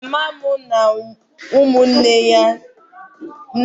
Mama m na ụmụnne ya ndị nwanyị kwurịtara okwu n'ọnụ ụlọ ezumike